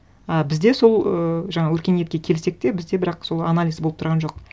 ы бізде сол ыыы жаңағы өркениетке келсек те бізде бірақ сол анализ болып тұрған жоқ